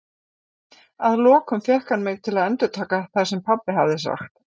Að lokum fékk hann mig til að endurtaka það sem pabbi hafði sagt.